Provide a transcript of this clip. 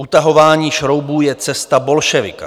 Utahování šroubů je cesta bolševika."